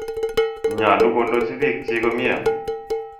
Nyalu kondochi piik chiik konye .